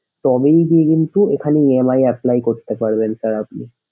তবেই কিন্তু এখানে EMI apply করতে পারবেন sir আপনি।